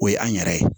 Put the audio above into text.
O ye an yɛrɛ ye